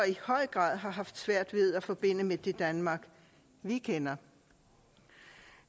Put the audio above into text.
høj grad har svært ved at forbinde med det danmark vi kender